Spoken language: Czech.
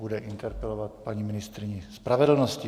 Bude interpelovat paní ministryni spravedlnosti.